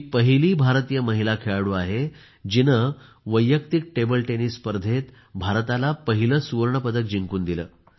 ती पहिली भारतीय महिला खेळाडू आहे जिने वैयक्तिक टेबल टेनिस स्पर्धेत भारताला पहिले सुवर्ण पदक जिंकून दिले